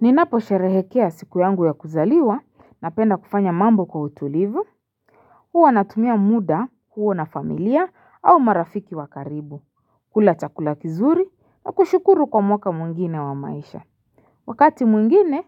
Ninaposherehekea siku yangu ya kuzaliwa napenda kufanya mambo kwa utulivu huwa natumia muda huo na familia au marafiki wa karibu kula chakula kizuri na kushukuru kwa mwaka mwengine wa maisha Wakati mwengine